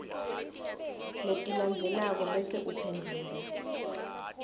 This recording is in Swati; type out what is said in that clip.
letilandzelako bese uphendvula